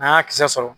N'an y'a kisɛ sɔrɔ